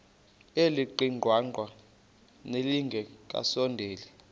elingaqingqwanga nelinge kasondeli